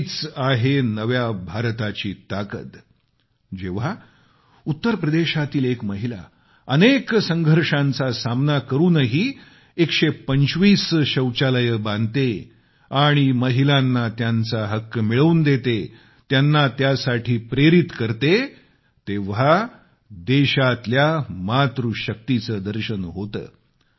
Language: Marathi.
हीच आहे नव्या भारताची ताकद जेव्हा उत्तरप्रदेशातील एक महिला अनेक संघर्षांचा सामना करुनही 125 शौचालये बांधते आणि महिलांना त्यांचा हक्क मिळवून देते त्यांना त्यासाठी प्रेरित करते तेव्हा देशातल्या मातृशक्तीचे दर्शन होते